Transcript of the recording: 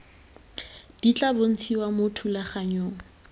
di tla bontshiwa mo thulaganyong